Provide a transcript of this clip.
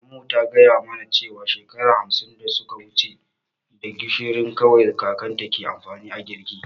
Maman mu ta gaya mana cewar shekara hamsin da suka wuci da gishiri kawai kakanta ke amfani a girki.